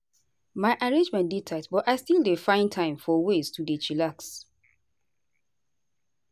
my arrangement dey tight but i still dey find time for ways to dey chillax.